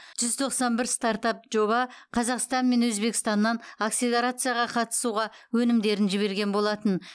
жүз тоқсан бір стартап жоба қазақстан мен өзбекстаннан акселерацияға қатысуға өтінімдерін жіберген болатын